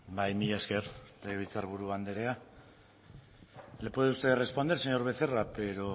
bai mila esker legebiltzarburu andrea le puede usted responder señor becerra pero